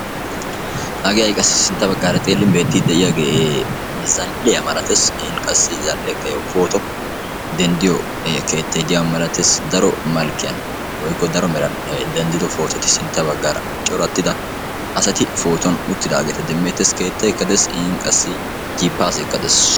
hagee ha'i qassi sinta bagaara xeelin beettiyagee zal'iyaa malatees. zal'eekka yaw pootuwa dentytiyaba malatees. daro meran denddida asati sinta bagaara utidaageeta demeetes. qassi jiipaaseekka dees.